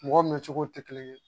Mɔgɔw mɛncogo tɛ kelen ye